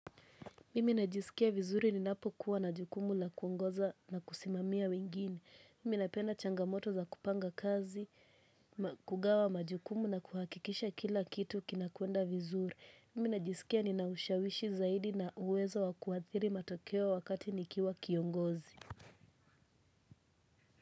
Mimi najisikia vizuri ninapo kuwa na jukumu la kuongoza na kusimamia wengine. Mimi napenda changamoto za kupanga kazi, kugawa majukumu na kuhakikisha kila kitu kinakwenda vizuri. Mimi najisikia nina ushawishi zaidi na uwezo wa kuathiri matokeo wakati nikiwa kiongozi.